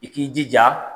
I k'i jija